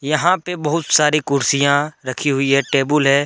यहां पे बहुत सारी कुर्सियां रखी हुई है टेबुल है।